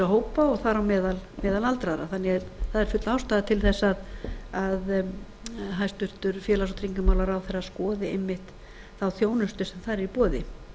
hópa og þar á meðal aldraða það er því full ástæða til þess að hæstvirtur félags og tryggingamálaráðherra skoði einmitt þá þjónustu sem þar er í